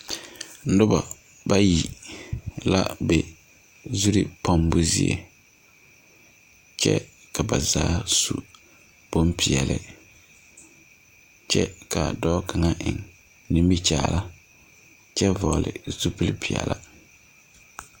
Nuba bayi la be zuri pɔnbu zeɛ kye ka ba zaa su bunpeɛle kye ka a doɔ kanga en nimikyaan kye vɔgli zupile peɛlaa.